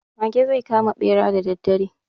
Mage zai kama ɓera da daddare.